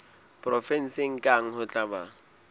provenseng kang ho tla ba